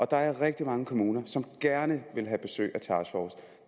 der er rigtig mange kommuner som gerne vil have besøg af taskforcen